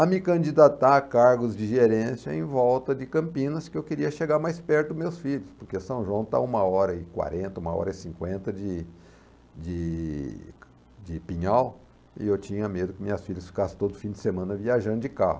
a me candidatar a cargos de gerência em volta de Campinas, que eu queria chegar mais perto dos meus filhos, porque São João está a uma hora e quarenta, uma hora e cinquenta de de de Pinhal, e eu tinha medo que minhas filhas ficassem todo fim de semana viajando de carro.